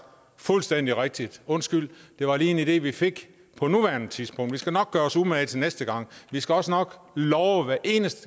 fuldstændig rigtigt undskyld det var lige en idé vi fik på nuværende tidspunkt men vi skal nok gøre os umage til næste gang vi skal også nok love at hver eneste